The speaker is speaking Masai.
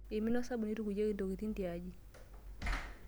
Eimina osabuni oitukuyieki ntokitin tiaji.